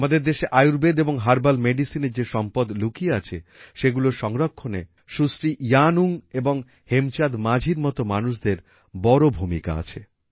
আমাদের দেশে আয়ুর্বেদ এবং হার্বাল মেডিসিনের যে সম্পদ লুকিয়ে আছে সেগুলোর সংরক্ষণে সুশ্রী ইয়াং এবং হেমচাঁদ মাঝির মত মানুষদের বড় ভূমিকা আছে